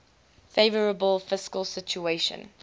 favourable fiscal situation